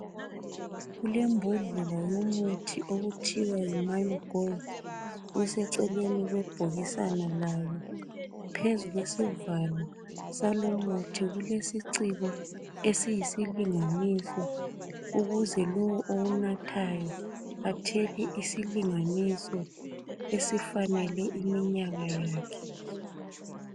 Kulembodlela yomuthi othiwa yi Mayogold useceleni kwebhokisana layo phezu kwesivalo salumuthi kulesiciko esiyisilinganiso ukuze lowo owunathayo athele isilinganiso esifanele iminyaka yakhe.